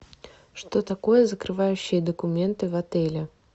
что такое закрывающие документы в отеле